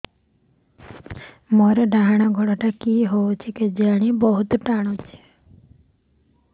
ମୋର୍ ଡାହାଣ୍ ଗୋଡ଼ଟା କି ହଉଚି କେଜାଣେ ବହୁତ୍ ଟାଣୁଛି